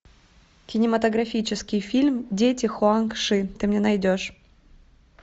кинематографический фильм дети хуанг ши ты мне найдешь